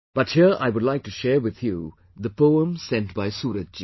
But here I would like to share with you the poem sent by Suraj Ji